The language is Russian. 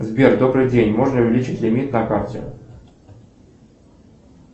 сбер добрый день можно увеличить лимит на карте